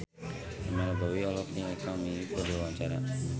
Pamela Bowie olohok ningali Kang Min Hyuk keur diwawancara